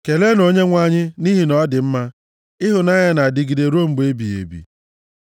Keleenụ Onyenwe anyị, nʼihi na ọ dị mma; ịhụnanya ya na-adịgide ruo mgbe ebighị ebi.